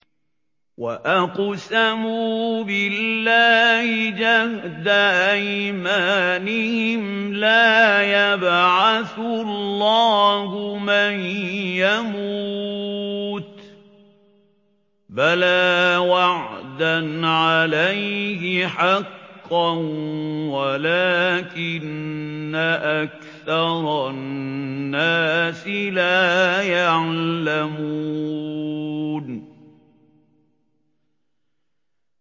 وَأَقْسَمُوا بِاللَّهِ جَهْدَ أَيْمَانِهِمْ ۙ لَا يَبْعَثُ اللَّهُ مَن يَمُوتُ ۚ بَلَىٰ وَعْدًا عَلَيْهِ حَقًّا وَلَٰكِنَّ أَكْثَرَ النَّاسِ لَا يَعْلَمُونَ